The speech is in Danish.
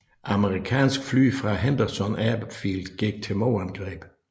Amerikanske fly fra Henderson Airfield gik til modangreb